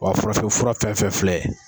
Wa farafinfura fɛn fɛn fɛn filɛ